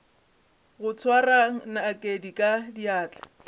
go swara nakedi ka diatla